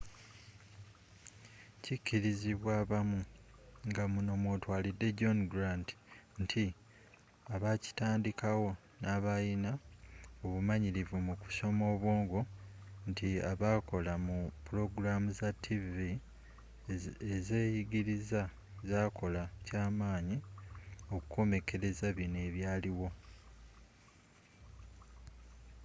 kikirizibwa abamu ngamuno mwotwalide john grant nti abakitandikawo nabalina obumanyiririvu mu kusoma obwongo nti abakola mu pulogulaamu za ttiivi eziyigiriza zakola kyamanyi okukomekereza bino ebyaliwo